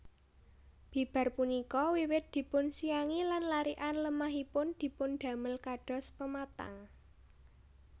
Bibar punika wiwit dipunsiangi lan larikan lemahipun dipundamel kados pematang